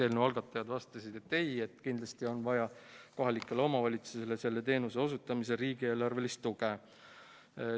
Eelnõu algatajad vastasid, et ei, kindlasti on vaja kohalikele omavalitsustele selle teenuse osutamiseks riigieelarvelist tuge.